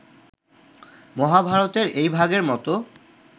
মহাভারতের এই ভাগের মত